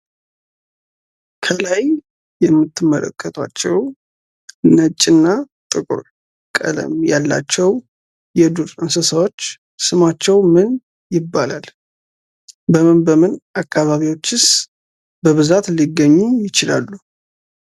ከላይ የምትመለከቷቸው ነጭና ጥቁር ቀለም ያላቸው የዱር እንስሳዎች ስማቸው ምን ይባላል? በምን በምን አካባቢዎችስ በብዛት ሊገኙ ይችላሉ?